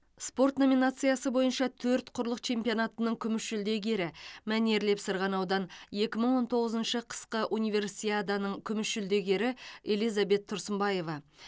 спорт номинациясы бойынша төрт құрлық чемпионатының күміс жүлдегері мәнерлеп сырғанаудан екі мың он тоғызыншы қысқы универсиаданың күміс жүлдегері элизабет тұрсынбаева